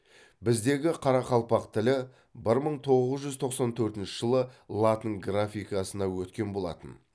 біздегі қарақалпақ тілі бір мың тоғыз жүз тоқсан төртінші жылы латын графикасына өткен болатын